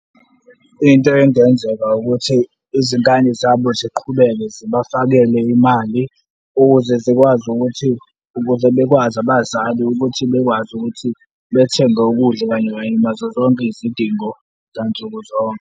Into engenzeka ukuthi izingane zabo ziqhubeke zibafakele imali ukuze zikwazi ukuthi, ukuze bekwazi abazali ukuthi bekwazi ukuthi bethenge ukudla kanye kanye nazo zonke izidingo zwansukuzonke.